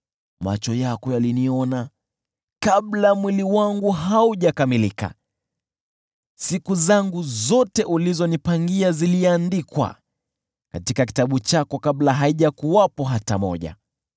macho yako yaliniona kabla mwili wangu haujakamilika. Siku zangu zote ulizonipangia ziliandikwa katika kitabu chako kabla haijakuwepo hata moja.